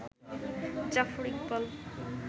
Zafar Iqbal